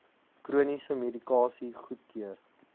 chroniese medikasie goedkeur